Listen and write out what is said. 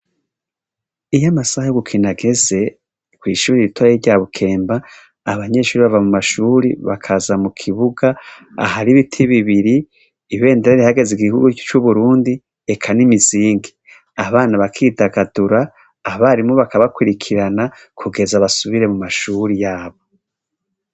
Iyo amasaha yo gukina ageze, kw'ishure rito rya bukemba abanyeshure bava mumashure bakaza mukibuga, ahari ibiti bibiri ibendera rihayagiza igihugu c'uburundi eka n'imizingi, abana bakidagadura, abarimu bakabakwirikira kugeza basubire mumashure yabo.